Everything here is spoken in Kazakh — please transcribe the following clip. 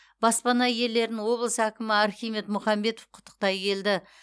баспана иелерін облыс әкімі архимед мұхамбетов құттықтай келді